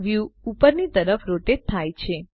view ઉપરની તરફ rotate થાય છે